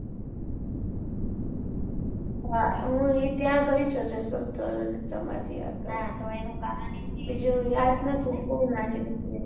હા હું એ ત્યાં ગઈ છું જેસલ તોરલ ની સમ્માંધી આગળ બીજું યાદ નથી